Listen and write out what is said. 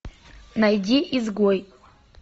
найди изгой